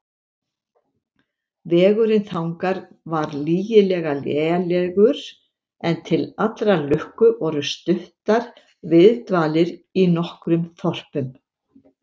Vegurinn þangað var lygilega lélegur, en til allrar lukku voru stuttar viðdvalir í nokkrum þorpum.